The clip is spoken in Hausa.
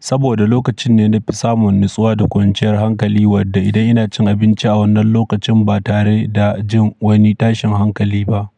Saboda lokacin ne na fi samun natsuwa da kwanciyar hankali wadda idan ina cin abinci a wannan lokacin ba tare da jin wani tashin hankali ba.